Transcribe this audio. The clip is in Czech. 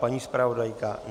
Paní zpravodajka?